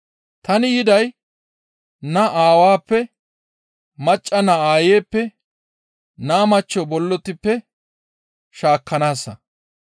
Tani yiday naa aawappe, macca naa aayppe, naa machcho bollotippe shaakkanaassa.